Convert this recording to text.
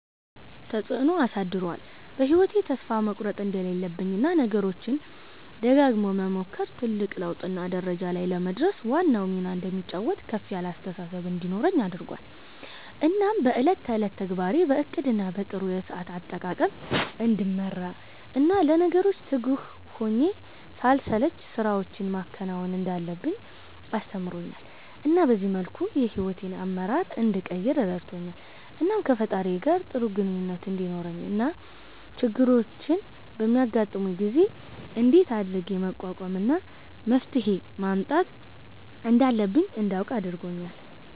አዎ ተፀአኖ አሳድሮአል በ ህይዎቴ ተስፋ መቁረት እንደሌለብኝ እና ነገሮችን ደጋግሞ መሞከር ትልቅ ለውጥ እና ደረጃ ላይ ለመድረስ ዋናውን ሚና እንደሚጫወት ከፍ ያለ አስተሳሰብ እንዲኖረኝ አድርጎአል እናም በ እለት ተእለት ተግባሬን በ እቅድ እና በ ጥሩ የሰአት አጠቃቀም እንድመራ እና ለነገሮች ትጉህ ሁኘ ሳልሰለች ስራወችን ማከናወን እንዳለብኝ አስተምሮኛል እና በዚህ መልኩ የ ሂዎቴን አመራር እንድቀይር ረድቶኛል። እናም ከ ፈጣሪየ ጋር ጥሩ ግኝኙነት እንዲኖረኝ እና ችግሮች በሚያጋጥሙኝ ጊዜ እንደት አድርጌ መቋቋም እና መፍትሄ ማምጣት እንዳለብኝ እንዳውቅ አርጎኛል